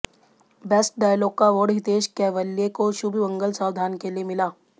best dialogue का award Hitesh Kewalya को शुभ मंगल सावधान के लिए मिला